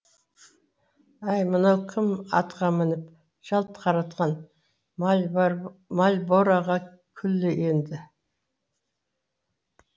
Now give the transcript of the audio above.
әй мынау кім атқа мініп жалт қаратқан мальбороға күллі елді